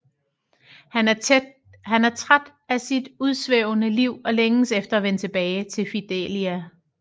Han er træt af sit udsvævende liv og længes efter at vende tilbage til Fidelia